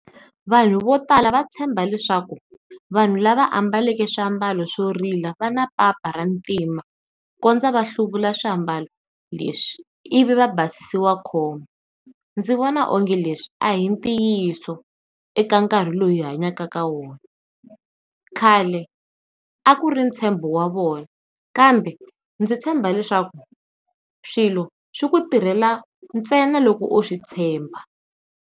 Vanhu vo tala va tshemba leswaku vanhu lava ambaleke swiambalo swo rila va na papa ra ntima ku kondza va hluvula swiambalo leswi ivi i basisiwa khombo. Ndzi vona o nge leswi a hi ntiyiso eka nkarhi loyi hi hanyaka ka wona khale a ku ri ntshembo wa vona kambe ndzi tshemba leswaku swilo swi ku tirhela ntsena loko u swi tshemba.